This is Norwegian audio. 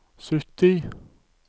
sytti